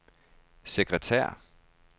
sekretær